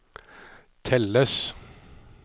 telles